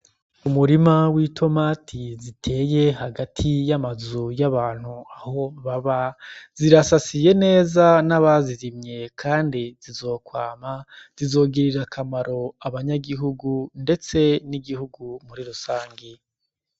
Umurima w'i tomati ziteye hagati y'amazu y'abantu aho baba zirasasiye neza n'abazirimye, kandi zizokwama zizogirira akamaro abanyagihugu, ndetse n'igihugu muri rusangi.